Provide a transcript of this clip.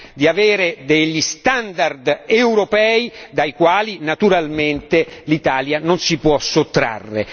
di avere degli standard europei dai quali naturalmente l'Italia non si può sottrarre.